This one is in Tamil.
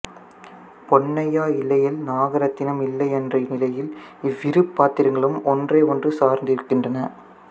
பொன்னையா இல்லையேல் நாகரத்தினம் இல்லை என்ற நிலையில் இவ்விரு பாத்திரங்களும் ஒன்றை ஒன்று சார்ந்திருக்கின்றன